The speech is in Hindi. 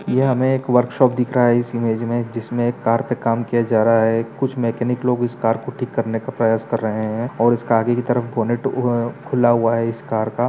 यह हमें एक वर्क्शाप दिख रहा है इस इमेज में जिसमें एक कार पे काम किया जा रहा है कुछ मैकेनिक लोग उस कार को ठीक करने का प्रयास कर रहें हैं और उस के आगे की तरफ बोनेट उम खुल्ला हुआ है उस कार का।